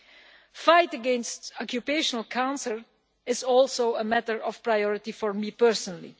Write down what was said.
The fight against occupational cancer is also a matter of priority for me personally.